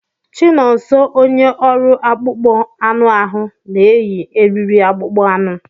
Chinonso onye ọrụ akpụkpọ anụ ahu na-eyi eriri akpụkpọ anụ.